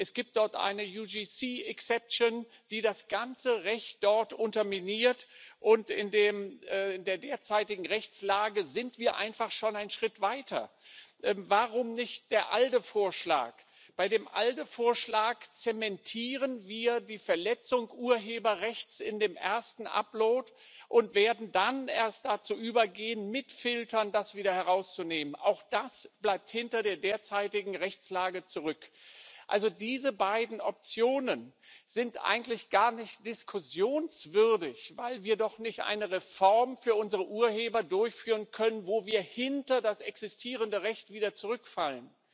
Es gibt dort eine die das ganze Recht dort unterminiert, und in der derzeitigen Rechtslage sind wir einfach schon einen Schritt weiter. Warum nicht der ALDE Vorschlag? Bei dem ALDE Vorschlag zementieren wir die Verletzung des Urheberrechts in dem ersten Upload und würden dann erst dazu übergehen, das mit Filtern wieder herauszunehmen. Auch das bleibt hinter der derzeitigen Rechtslage zurück. Diese beiden Optionen sind also eigentlich gar nicht diskussionswürdig, weil wir doch nicht eine Reform für unsere Urheber durchführen können, mit der wir wieder hinter das existierende Recht zurückfallen.